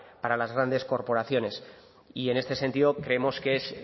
para las grandes corporaciones y en este sentido creemos que es